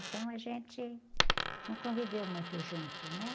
Então a gente não conviveu muito junto, né?